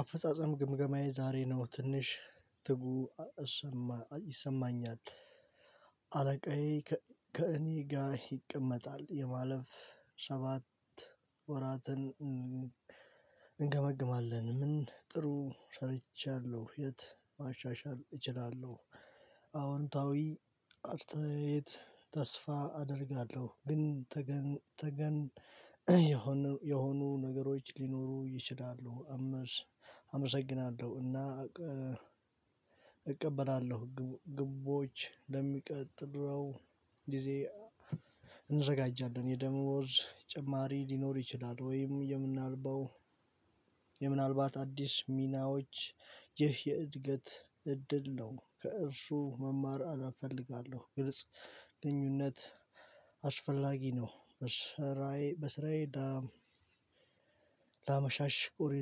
አፈጻጸም ግምገማዬ ዛሬ ነው ትንሽ ትጉ ይሰማኛል። አለቃዬ ከእኔ ጋር ይቀመጣል የማለፍ ሰባት ወራትን እንገመግማለን። ምን ጥሩ ሰርቻለሁ የት ማሻሻል እችላለሁ። አዎንታዊ አርተአይት ተስፋ አደርጋለሁ ግን ተገን የሆኑ ነገሮች ሊኖሩ ይችላሉ። አመሰግናለሁ እና እቀበላለሁ ግቦች ለሚቀጥለው ጊዜ እንዘጋጃለን። የደሞዝ ተጨማሪ ሊኖር ይችላል ወይም የምናልባው የምናልባት አዲስ ሚናዎች ይህ የእድገት እድል ነው። ከእርሱ መማር እፈልጋለሁ ግልጽ ግንኙነት አስፈላጊ ነው። በስራዬ በስራዬ ለመሻሻል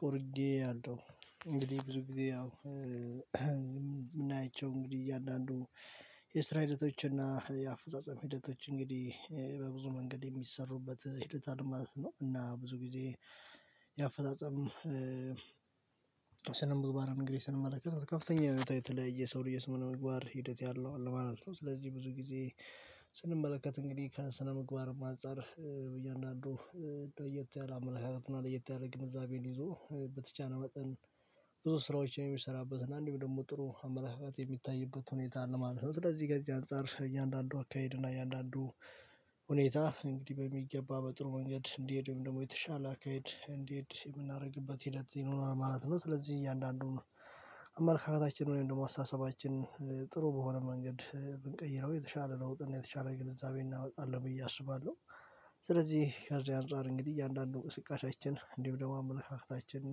ቆርጬአለው። እንግዲህ ብዙ ጊዜ ያው የምናይቸው እንግዲህ እያንዳንዱ የስራ ሂደቶች እና የአፈጻጸም ሂደቶች እንግዲህ በብዙ መንገድ የሚሰሩበት ሂደት አለ ማለት ነው። እና ብዙ ጊዜ ያፈጣጠም ስነምግባር እንግዲህ ስንመለከት ከፍተኛ ህይወታችን ላይ የሰው የስነምግባር ሂደት ያለው አለማለት ነው። ስለዚህ ብዙ ጊዜ ስንመለከት እንግዲህ ከስነ ምግባር አንፃር በእያንዳንዱ ለየት ያለ አመለካከት ምናልባት ለየት ያለ ግንዛቤን ይዞ በተቻለ መጠን ብዙ ስራዎች የሚሰራበት እና አንድም ደግሞ ጥሩ አመለካከት የሚታይበት ሁኔታ ለማለት ነው። ስለዚህ ገንዘብ እያንዳንዱ አካሄድ እና እያንዳንዱ ሁኔታ እንግዲህ በሚገባ በጥሩ መንገድ እንዲሄድ ወይም ደግሞ የተሻለ አኬድ እንዲሄድ የምናደርግበት ሂደት ይኖራል ማለት ነው። ስለዚህ እያንዳንዱን አመለካከታችን ወይም ደግሞ አስተሳሰባችን ጥሩ በሆነ መንገድ ብንቀይረው የተሻለ ለጥና የተሻለ ግንዛቤ እናመጣለን ብዬ አስባለሁ። ስለዚህ ከዚህ አንፃር እንግዲህ እያንዳንዱ እንቅስቃሴችን እንዲሁ ደግሞ አመለካከታችን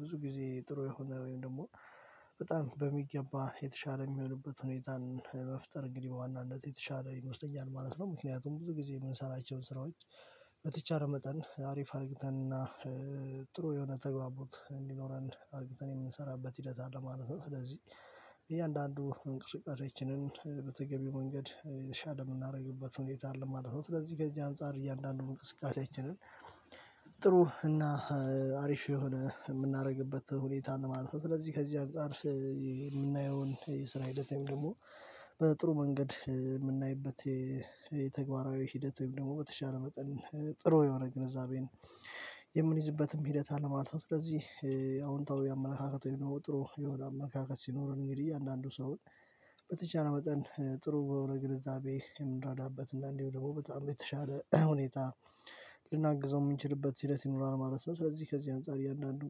ብዙ ጊዜ ጥሩ የሆነ ወይም ደግሞ በጣም በሚገባ የተሻለ የሚሆንበት ሁኔታን ለመፍጠር እንግዲህ በዋናነት የተሻለ ይመስለኛል ማለት ነው። ምክንያቱም ብዙ ጊዜ የምንሰራቸውን ስራዎች በተቻለ መጠን አሪፍ አርገንና ጥሩ የሆነ ተግባቦት እንዲኖረን አርገን የምንሰራበት ሂደት አለ ማለት ነው። ስለዚህ እያንዳንዱ እንቅስቃሴችንን በተገቢው መንገድ የተሻ የምናደርግበት ሁኔታ አለ ማለት ነው። ለዚህ አንፃር እያንዳንዱን እንቅስቃሴችንን ጥሩ እና አሪፍ የሆነ የምናደርግበት ሁኔታን አለ ማለት ነው። ስለዚህ ከዚህ አንፃር የምናየውን የስራ ሂደት ወይም ደግሞ በጥሩ መንገድ የምናይበት የተግባራዊ ሂደት ወይም ደግሞ በተሻለ መጠን ጥሩ የሆነ ግንዛቤን የምንይዝበትም ሂደት አለ ማለት ነው። ስለዚህ አዎንታዊ አመለካከት የሆነ ጥሩ የሆነ አመለካከት ሲኖረን እንግዲህ እያንዳንዱ ሰው በተቻለ መጠን ጥሩ በሆነ ግንዛቤ የምንረዳበት እና እንዲሁ ደግሞ በጣም የተሻለ ሁኔታ ልናግዘው የምንችልበት ሂደት ይኖራል ማለት ነው። ስለዚህ ከዚህ አንፃር የእያንዳንዱን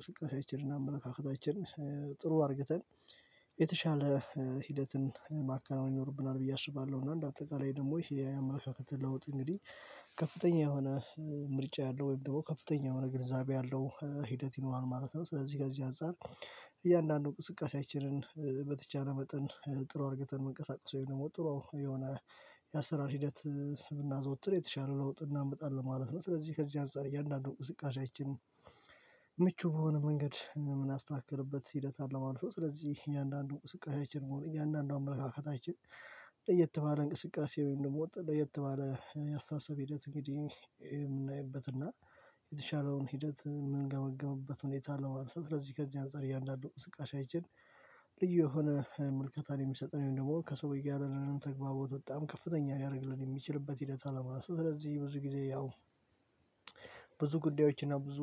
ቅስቀሳችንና አመለካከታችን ጥሩ አድርግተን የተሻለ ሂደትን ማከናዎን ይኖርብናል ብዬ አስባለሁ። እና እንደ አጠቃላይ ደግሞ ይሄ የአመለካከት ለውጥ እንግዲህ ከፍተኛ የሆነ ምርጫ ያለው ወይም ደግሞ ከፍተኛ የሆነ ገንዘብ ያለው ሂደት ይኖራል ማለት ነው። ስለዚህ ጋር እዚህ አንፃር እያንዳንዱን ቁስቃሴያችንን በተቻለ መጠን ጥሩ አድርገን መንቀሳቀስ ወይም ጥረ የሆነ የአሰራር ሂደት ስምና ዘወትር የተሻለ ለውጥ እናመጣለን ማለት ነው። ስለዚህ ከዚህ አንፃር እያንዳንዱ እንቅስቃሴችን ምቹ በሆነ መንገድ የምናስተካክልበት ሂደት አለማለት ስለዚህ እያንዳንዱ እንቅስቃሴችንን እያንዳንዱን አመለካከታችን ለየት ባለ እንቅስቃሴ ወይም ደግሞ ለየት ባለ ያስተሳሰብ ሂደት እንግዲህ የምናይበት እና የተሻለውን ሂደት የምንገመግምበት ሁኔታ አለው። አንፈር ለዚህ ከእንደዚህ አንፃር እያንዳንዱ ስቃሽ አይቼን ልዩ የሆነ መልከታን የሚሰጠን ደግሞ ከሰውዬ ጋር ያለንን ተግባቦት በጣም ከፍተኛ ሊያደርግልን የሚችልበት ሂደት አለማለት ነው። ስለዚህ ብዙ ጊዜ ያው ብዙ ጉዳዮች እና ብዙ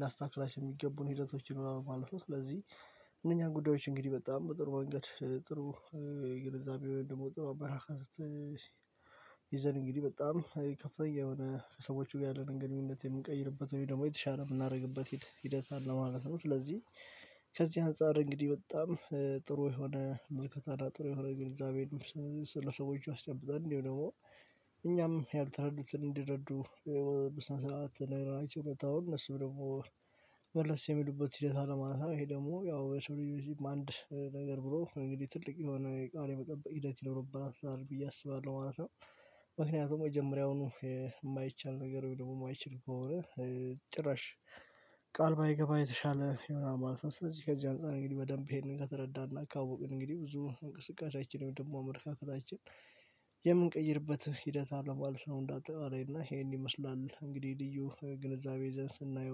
ላስተካክላቸው የሚገቡን ሂደቶችን ይኖራሉ ማለት ነው። ስለዚህ እነኛን ጉዳዮች እንግዲህ በጣም ጥሩ መንገድ ጥሩ ግንዛቤ ወይ ደግሞ ጥሩ አመለካከት ይዘን እንግዲህ በጣም ከፍተኛ የሆነ ከሰዎቹ ጋር ያለንን ግንኙነት የምንቀይርበት ወይ ደግሞ የተሻለ የምናደርግበት ሂደት ለማለት ነው። ስለዚህ ከዚህ አንፃር እንግዲህ በጣም ጥሩ የሆነ መልከታና ጥሩ የሆነ ግንዛቤን ስለሰዎቹ አስጨብጣለሁ እንዲሁ ደግሞ እኛም ያልተረዱትን እንዲረዱ በስነ ሰዓት ነገራችሁ እውነታው እነሱም ደግሞ መልስ የሚሉበት ሂደት አለማለት ይሄ ደግሞ ያው የሰው ልጅ አንድ ነገር ብሎ እንግዲህ ትልቅ የሆነ የቃል የመጠበቅ ሂደት ይኖርብሃል ብዬ አስባለሁ ማለት ነው። ምክንያቱም ጀመሪያውኑ የማይቻል ነገር ደግሞ ማይችል ከሆነ በኋላ ጭራሽ ቃል ባይገባ የተሻለ የሆነ ማለት ነው። ስለዚህ ከዚህ አንፃር እንግዲህ በደንብ ይሄንን ከተረዳን እና ካውቅን እንግዲህ ብዙ እንቅስቃሴያችንን ደግሞ አመለካከታችን የምንቀይርበት ሂደት አለማለት ነው። እንዳጠቃው አለኝ እና ይሄን ይመስላል እንግዲህ ልዩ ግንዛቤ ይዘን ስናየው